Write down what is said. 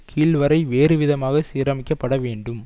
கீழ் வரை வேறுவிதமாக சீரமைக்கப்பட வேண்டும்